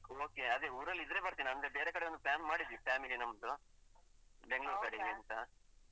Okay ಅದೇ ಊರಲ್ಲಿ ಇದ್ರೆ ಬರ್ತೇನೆ ಅಂದ್ರೆ ಬೇರೆಕಡೆ ಒಂದು plan ಮಾಡಿದ್ವಿ family ನಮ್ದು ಬೆಂಗಳೂರ್ ಕಡೆಗೆ ಅಂತ.